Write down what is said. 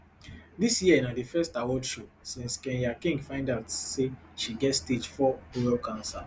dis year na di first award show since kenya king find out say she get stage four bowel cancer